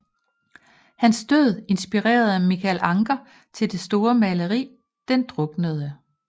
Hans død inspirerede Michael Ancher til det store maleri Den druknede